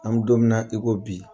An mi don mi na i ko bi.